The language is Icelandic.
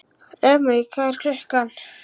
Remek, hvað er klukkan?